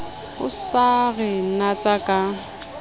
o sa re natsa ka